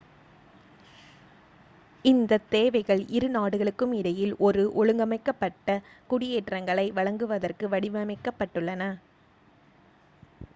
இந்தத் தேவைகள் இரு நாடுகளுக்கும் இடையில் ஒரு ஒழுங்கமைக்கப்பட்ட குடியேற்றங்களை வழங்குவதற்கு வடிவமைக்கப்பட்டுள்ளன